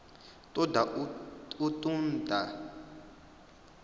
ṱo ḓa u ṱun ḓa